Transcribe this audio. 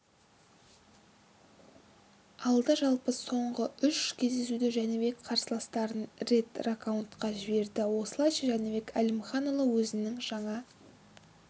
алды жалпы соңғы үш кездесуде жәнібек қарсыластарын рет нокдаунға жіберді осылайша жәнібек әлімханұлы өзінің жаңа